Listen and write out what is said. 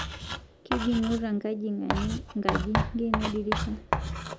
Kejing'uta nkajing'ani nkaji ng'eno ldirisha